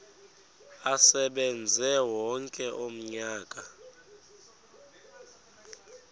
asebenze wonke umnyaka